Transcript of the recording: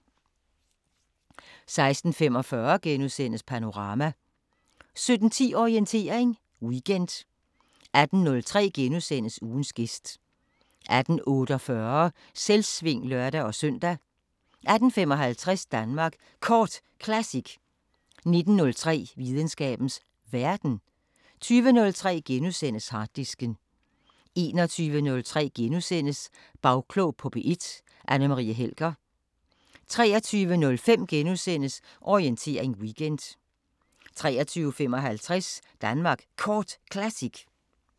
16:45: Panorama * 17:10: Orientering Weekend 18:03: Ugens gæst * 18:48: Selvsving (lør-søn) 18:55: Danmark Kort Classic 19:03: Videnskabens Verden 20:03: Harddisken * 21:03: Bagklog på P1: Anne Marie Helger * 23:05: Orientering Weekend * 23:55: Danmark Kort Classic